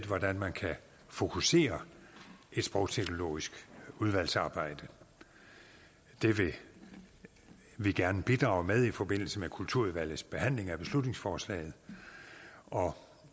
hvordan man kan fokusere et sprogteknologisk udvalgsarbejde det vil vi gerne bidrage med i forbindelse med kulturudvalgets behandling af beslutningsforslaget og